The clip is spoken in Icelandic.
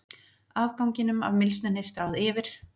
Afganginum af mylsnunni stráð yfir.